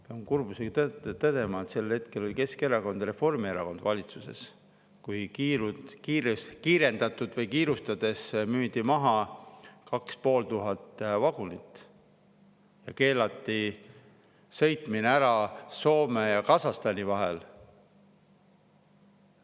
Pean kurbusega tõdema, et sel hetkel olid valitsuses Keskerakond ja Reformierakond, kui kiirendatud korras või kiirustades müüdi maha 2500 vagunit ja keelati sõitmine ära Soome ja Kasahstani vahel.